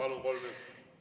Palun, kolm minutit!